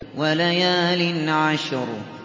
وَلَيَالٍ عَشْرٍ